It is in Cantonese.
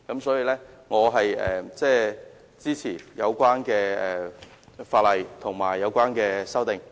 因此，我支持有關法例和有關修訂。